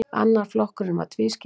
Annar flokkurinn var tvískiptur.